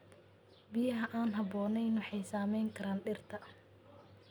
Biyaha aan habboonayn waxay saameyn karaan dhirta.